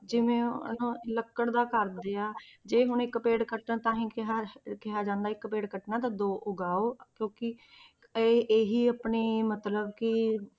ਜਿਵੇਂ ਹਨਾ ਲੱਕੜ ਦਾ ਕਰਦੇ ਆ ਜੇ ਹੁਣ ਇੱਕ ਪੇੜ ਕੱਟਣ ਤਾਂ ਹੀ ਕਿਹਾ ਕਿਹਾ ਜਾਂਦਾ ਇੱਕ ਪੇੜ ਕੱਟਣਾ ਤਾਂ ਦੋ ਉਗਾਓ ਕਿਉਂਕਿ ਇਹ ਇਹ ਹੀ ਆਪਣੇ ਮਤਲਬ ਕਿ